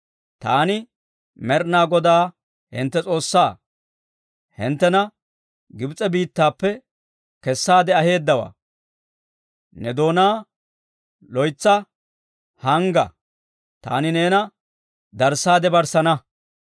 Taani, Med'inaa Godaa hintte S'oossaa, hinttena Gibs'e biittaappe kessaade aheeddawaa. Ne doonaa loytsa hangga; taani neena darssaade barssana.